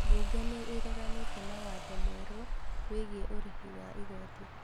Bunge nĩ ĩreganĩte na watho mwerũ wĩgiĩ ũrĩhi wa igoti